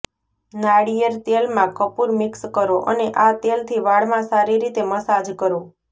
નાળિયેર તેલમાં કપૂર મિક્સ કરો અને આ તેલથી વાળમાં સારી રીતે મસાજ કરો